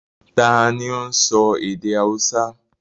Ta ni óún sọ èdè haúsá?